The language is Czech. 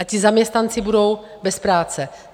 A ti zaměstnanci budou bez práce.